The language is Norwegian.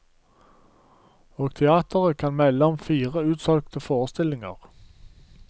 Og teatret kan melde om fire utsolgte forestillinger.